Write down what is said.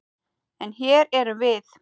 En. hér erum við.